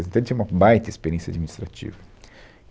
Então, ele tinha uma baita experiência administrativa.